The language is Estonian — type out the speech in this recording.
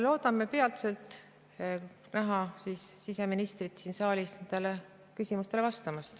Loodame peatselt näha siseministrit siin saalis nendele küsimustele vastamas.